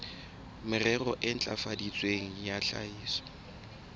merero e ntlafaditsweng ya tlhahiso